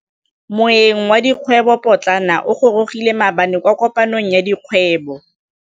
Moêng wa dikgwêbô pôtlana o gorogile maabane kwa kopanong ya dikgwêbô.